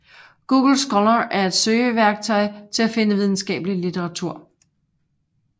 Google Scholar er et søgeværktøj til at finde videnskabelig litteratur